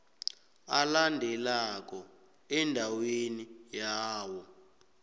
alandelako endaweni yawo